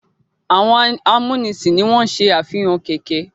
Àwọn amúnisìn ni wọ́n se àfihàn kẹ̀ẹ̀kẹ́.